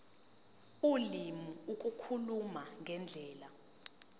ulimi ukukhuluma ngendlela